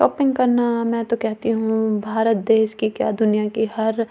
shopping करना मैं तो कहती हूं भारत देश के क्‍या दुनिया के हर आं--